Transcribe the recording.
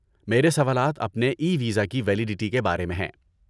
میرے سوالات اپنے ای ویزا کی ویلیڈٹی کے بارے میں ہیں